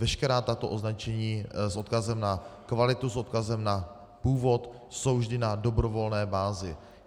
Veškerá tato označení s odkazem na kvalitu, s odkazem na původ jsou vždy na dobrovolné bázi.